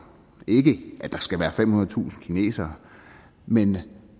ikke at der skal være femhundredetusind kinesere men